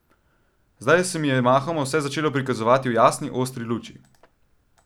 Zdaj se mi je mahoma vse začelo prikazovati v jasni, ostri luči.